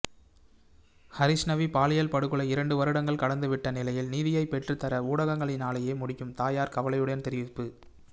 ஹரிஸ்ணவி பாலியல்படுகொலை இரண்டு வருடங்கள் கடந்துவிட்ட நிலையில் நீதியைப் பெற்றுத்தர ஊடகங்களினாலேயே முடியும் தயார் கவலையுடன் தெரிவிப்பு